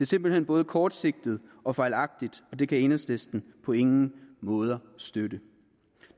simpelt hen både kortsigtet og fejlagtigt og det kan enhedslisten på ingen måde støtte